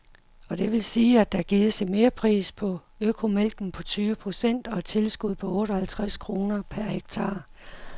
Og det vil sige, at der gives en merpris på økomælken på tyve procent og et tilskud på otte og halvtreds kroner per hektar.